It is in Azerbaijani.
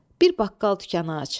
Bir baqqal dükkanı aç.